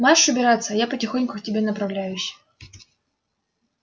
марш убираться а я потихоньку к тебе направляюсь